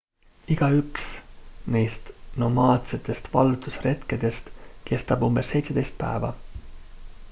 igaüks neist nomaadsetest vallutusretkedest kestab umbes 17 päeva